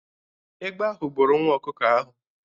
Egbe ahụ buru nwa ọkụkọ ahụ.